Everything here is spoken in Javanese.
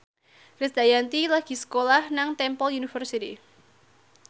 Krisdayanti lagi sekolah nang Temple University